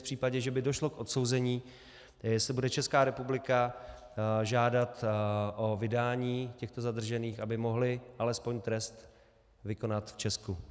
V případě, že by došlo k odsouzení, jestli bude Česká republika žádat o vydání těchto zadržených, aby mohli alespoň trest vykonat v Česku.